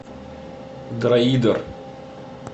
дроидер